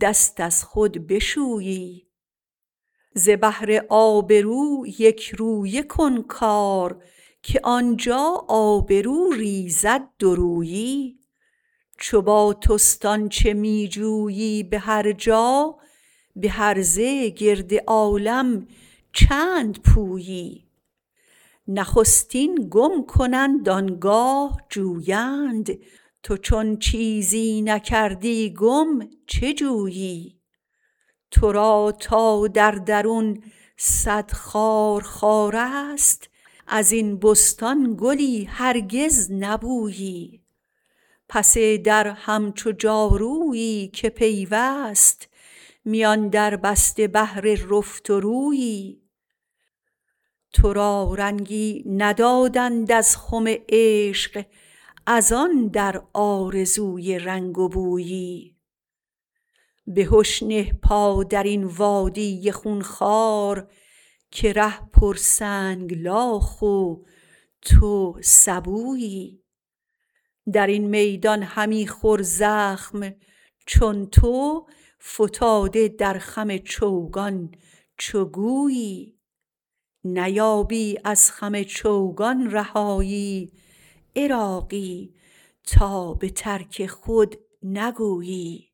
دست از خود بشویی ز بهر آبرو یک رویه کن کار که آنجا آبرو ریزد دورویی چو با توست آنچه می جویی به هرجا به هرزه گرد عالم چند پویی نخستین گم کنند آنگاه جویند تو چون چیزی نکردی گم چه جویی تو را تا در درون صد خار خار است ازین بستان گلی هرگز نبویی پس در همچو جادویی که پیوست میان در بسته بهر رفت و رویی تو را رنگی ندادند از خم عشق از آن در آرزوی رنگ و بویی بهش نه پا درین وادی خون خوار که ره پر سنگلاخ و تو سبویی درین میدان همی خور زخم چون تو فتاده در خم چوگان چو گویی نیابی از خم چوگان رهایی عراقی تا به ترک خود نگویی